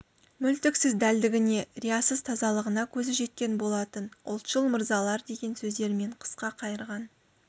мүлтіксіз дәлдігіне риясыз тазалығына көзі жеткен болатын ұлтшыл мырзалар деген сөздермен қысқа қайырған